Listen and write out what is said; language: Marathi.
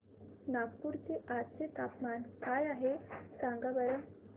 नागपूर चे आज चे तापमान काय आहे सांगा बरं